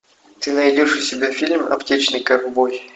ты найдешь у себя фильм аптечный ковбой